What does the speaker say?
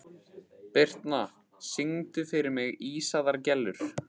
Birtna, syngdu fyrir mig „Ísaðar Gellur“.